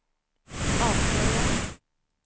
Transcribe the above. avslöjar